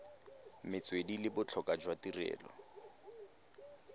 metswedi le botlhokwa jwa tirelo